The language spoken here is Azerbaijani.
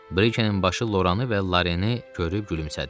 Brikenin başı Loranı və Larenini görüb gülümsədi.